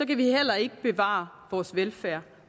kan vi heller ikke bevare vores velfærd